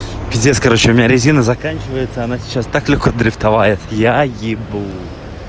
пиздец короче у меня резина заканчивается она сейчас так легко дрифтовает я ебу